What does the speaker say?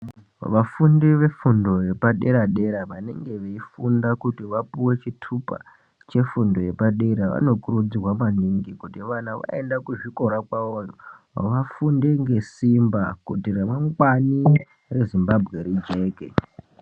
Vafundi vefundo yepadera dera vanenge veifunda kuti vapuwe chitupa chefundo yepadera dera vanokurudzirwa maningi kuti kana vaende kuzvikora kwavoyo vafunde ngesimba kuti remangwani reZimbabwe rijeke.